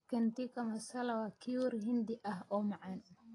Chicken tikka masala waa curry Hindi ah oo macaan.